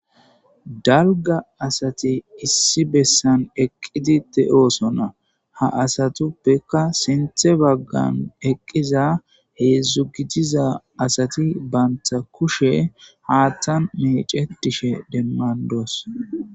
dalga asati issi bessan eqqidite oosona ha asatuppekka sinthe baggan eqqiza heedzdzugijiza asati banta kushe haattan mecetishe demmandoos